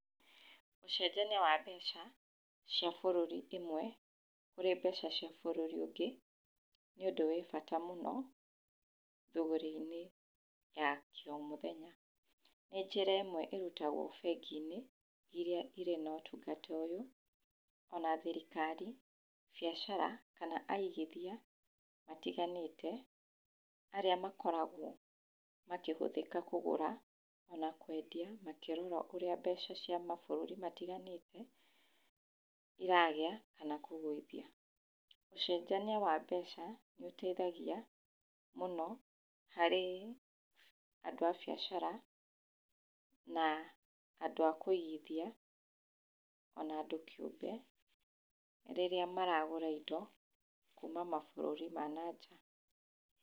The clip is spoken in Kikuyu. Ũcenjania wa mbeca cia bũrũri ĩmwe kũrĩ mbeca cia bũrũri ũngĩ, nĩ ũndũ wĩbata mũno thogori-inĩ ya kĩ o mũthenya, nĩ njĩra ĩmwe iria irutagwo bengi-inĩ iria irĩ na ũtungata ũyũ, ona thirikari, biacara, kana agithia matiganĩte, arĩa makoragwo makĩhũthĩka kũgũra, ona kwendia, makĩrora ũrĩa mbeca cia mabũrũri matiganĩte iragĩa, kana kũgũithia. Ũcenjania wa mbeca nĩ ũteithagia mũno harĩ andũ a biacara, na andũ a kwĩigithia, ona andũ kĩũmbe, rĩrĩa maragũra indo kuuma mabũrũri ma nanja.